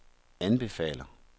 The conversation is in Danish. anbefaler